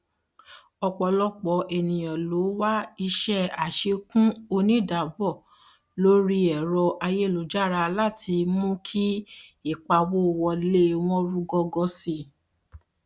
ọpọlọpọ ènìyàn ló wà iṣẹ àṣekún onídabọ lórí ẹrọ ayélujára láti fi mú kí ìpawówọlé wọn rúgọgọ sí